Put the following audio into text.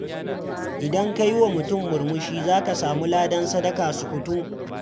Idan ka yi wa mutum murmushi, za ka samu ladan sadaka sukutum.